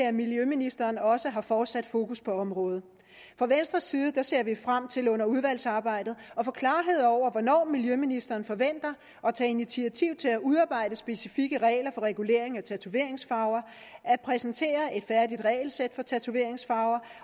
at miljøministeren også fortsat har fokus på området fra venstres side ser vi frem til under udvalgsarbejdet at få klarhed over hvornår miljøministeren forventer at tage initiativ til at udarbejde specifikke regler for regulering af tatoveringsfarver at præsentere et færdigt regelsæt for tatoveringsfarver